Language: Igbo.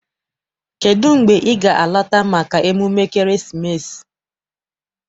Kedụ mgbe ị ga- alata maka emume ekeresimesi?